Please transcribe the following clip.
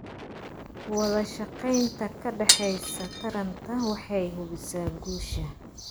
Wadashaqeynta ka dhaxaysa taranta waxay hubisaa guusha.